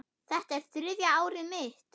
Þetta er þriðja árið mitt.